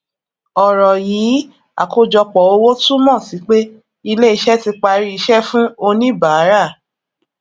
ọrọ yìí àkọjọpọ owó túmọ sí pé ilé iṣẹ tí parí iṣẹ fún oníbàárà